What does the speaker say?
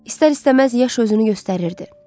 İstər-istəməz yaş özünü göstərirdi.